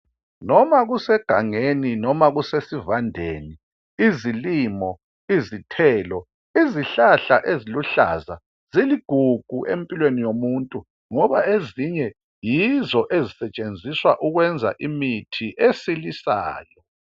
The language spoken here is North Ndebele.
Noma kusegangeni noma kuse sivandeni, izilimo, izithelo izihlahla eziluhlaza ziligugu empilweni yomuntu. Ngoba ezinye yizo ezisetshenziswa ukwenza imithi esilisayo.